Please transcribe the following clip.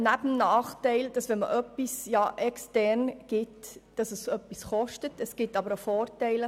Neben dem Nachteil, dass es etwas kostet, wenn man ein Projekt extern vergibt, gibt es auch gewisse Vorteile.